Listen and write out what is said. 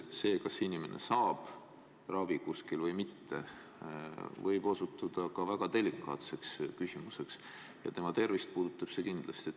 See, kas inimene saab kuskil ravi või mitte, võib samuti osutuda väga delikaatseks küsimuseks ja kindlasti puudutab see tema tervist.